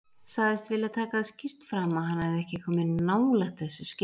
Sagðist vilja taka það skýrt fram að hann hefði ekki komið nálægt þessu skilti.